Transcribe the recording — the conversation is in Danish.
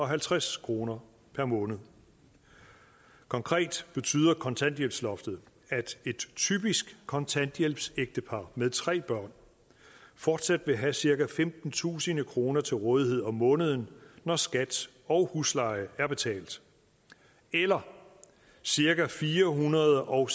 halvtreds kroner per måned konkret betyder kontanthjælpsloftet at et typisk kontanthjælpsægtepar med tre børn fortsat vil have cirka femtentusind kroner til rådighed om måneden når skat og husleje er betalt eller cirka firehundrede og